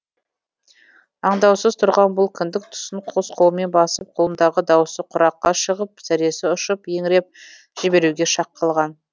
аңдаусыз тұрған бұл кіндік тұсын қос қолымен басып құлындағы даусы құраққа шығып зәресі ұшып еңіреп жіберуге шақ қалған